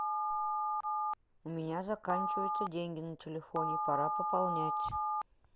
у меня заканчиваются деньги на телефоне пора пополнять